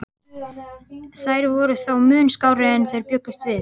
Þær voru þó mun skárri en þeir bjuggust við.